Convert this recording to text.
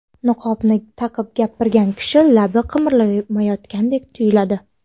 Niqobni taqib gapirgan kishi labi qimirlamayotgandek tuyuladi.